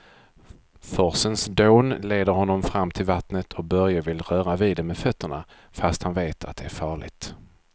Forsens dån leder honom fram till vattnet och Börje vill röra vid det med fötterna, fast han vet att det är farligt.